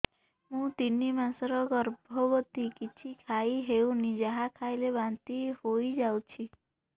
ମୁଁ ତିନି ମାସର ଗର୍ଭବତୀ କିଛି ଖାଇ ହେଉନି ଯାହା ଖାଇଲେ ବାନ୍ତି ହୋଇଯାଉଛି